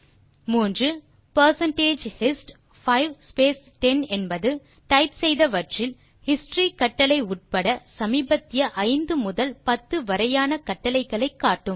மூன்றாவதற்கான விடை percentage hist 5 space 10 என்பது type செய்தவற்றில் ஹிஸ்டரி கட்டளை உட்பட சமீபத்திய 5 முதல் 10 வரையான கட்டளைகளை காட்டும்